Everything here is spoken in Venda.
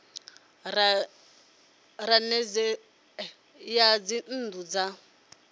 ya nisedzo ya dzinnu dza